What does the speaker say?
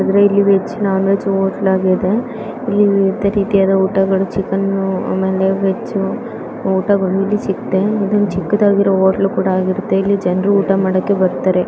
ಅಂದ್ರೆ ಇಲ್ಲಿ veg non veg hotel ಆಗಿದೆ ಚಿಕ್ಕನ ವೆಜ್ ಊಟ ಸಿಗುತ್ತದೆ ಚಿಕ್ಕದಾಗಿ ಹೋಟೆಲ್ ಕೂಡ ಆಗುತ್ತದೆ ಇಲ್ಲಿ .